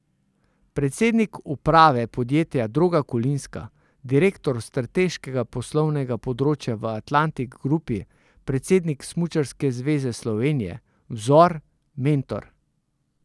Predsednik uprave podjetja Droga Kolinska, direktor Strateškega poslovnega področja v Atlantic Grupi, predsednik Smučarke zveze Slovenije, vzor, mentor ...